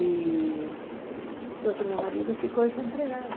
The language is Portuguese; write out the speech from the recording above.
E, então, meu marido ficou desempregado.